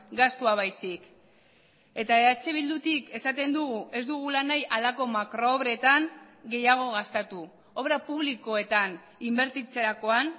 gastua baizik eta eh bildutik esaten dugu ez dugula nahi halako makro obretan gehiago gastatu obra publikoetan inbertitzerakoan